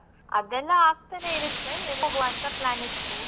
ಅದೆಲ್ಲಾ ಆಗ್ತಾನೆ ಇರುತ್ತೆ trip ಹೋಗ್ವಾ ಅಂತ plan ಇತ್ತು.